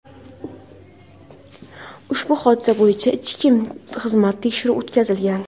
ushbu hodisa bo‘yicha ichki xizmat tekshiruvi o‘tkazilgan.